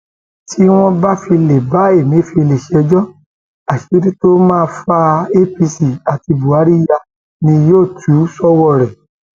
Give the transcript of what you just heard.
tí wọn bá fi lè bá ẹmẹfẹlẹ ṣẹjọ àṣírí tó máa fa apc àti buhari yá ni yóò túṣọwọrẹ